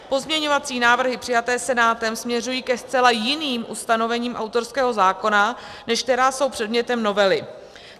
Pozměňovací návrhy přijaté Senátem směřují ke zcela jiným ustanovením autorského zákona, než která jsou předmětem novely.